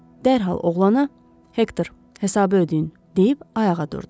Dərhal oğlana "Hektor, hesabı ödəyin!" deyib ayağa durdu.